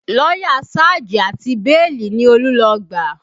Lọ́yà sáàjì àti bíèlì ni Olú lọ gbà